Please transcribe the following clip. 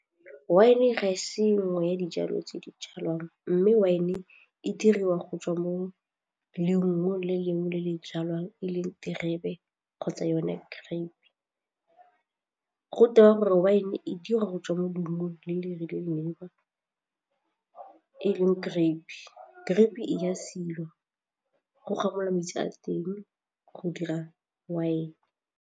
Wine ga e se nngwe ya dijalo tse di jalwang mme wine e diriwa go tswa mo leungong le le lengwe le le jalwang e leng diterebe kgotsa yone grape, go tewa gore win e dira go tswa mo dilong le le rileng e leng grape, grape e a silwa go gamiwa metsi a teng go dira wine.